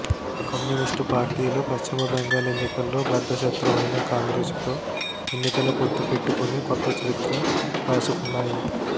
communist పార్టీలు పశ్చిమ బెంగాల్ ఎన్నికల్లో బద్ధశత్రువైన కాంగ్రెసుతో ఎన్నికల పొత్తు పెట్టుకొని కొత్త చరిత్ర రాసుకున్నాయి